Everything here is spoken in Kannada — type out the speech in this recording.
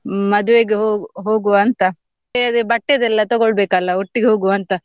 ಹ್ಮ್ ಮದ್ವೆಗೆ ಹೊ~ ಹೋಗುವ ಅಂತ ಅದೇ ಬಟ್ಟೆದೆಲ್ಲ ತೊಗೊಳ್ಬೇಕಲ್ಲ ಒಟ್ಟಿಗೆ ಹೋಗುವ ಅಂತ.